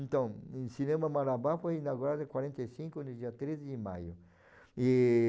Então, o Cinema Marabá foi inaugurado em quarenta e cinco, no dia treze de maio. E